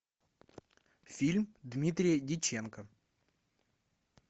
фильм дмитрия дьяченко